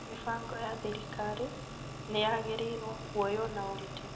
Mĩbago ya thirikari nĩ ya gereĩreirwo kũoyoo na ũritũ.